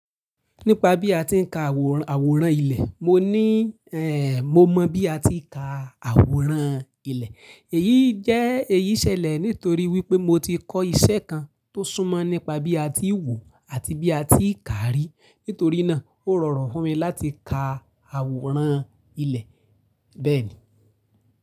Nípa bí a ti ń ka àwòrán, àwòrán ilẹ̀, mo ní, eh, mo mọ bí a ti ń ka àwòrán ilẹ̀. Èyí jẹ́, èyí ṣẹlẹ̀ nítorí wípé mo ti kọ́ iṣẹ́ kan tó súnmọ́ nípa bí a ti ń wò àti bí a ti ń ka rí. Nítorí náà ó rọrùn fún mi láti ka àwòrán ilẹ̀ bẹ́ẹ̀ni.